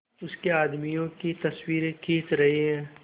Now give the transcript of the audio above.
उसके आदमियों की तस्वीरें खींच रहे हैं